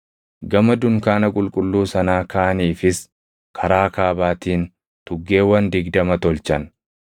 Gama dunkaana qulqulluu sanaa kaaniifis karaa kaabaatiin tuggeewwan digdama tolchan.